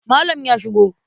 Malam ya shigo.